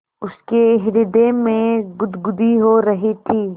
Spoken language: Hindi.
उसके हृदय में गुदगुदी हो रही थी